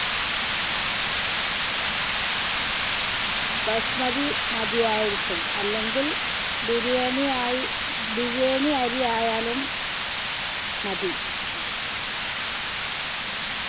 ബസ്മതി മതിയായിരിക്കും അല്ലെങ്കിൽ ബിരിയാണിയായി ബിരിയാണി അരി ആയാലും മതി